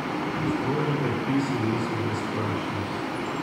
Strožji predpisi niso brezplačni.